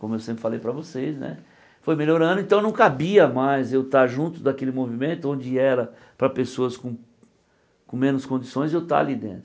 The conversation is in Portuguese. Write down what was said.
Como eu sempre falei para vocês né, foi melhorando, então não cabia mais eu estar junto daquele movimento, onde era para pessoas com com menos condições, eu estar ali dentro.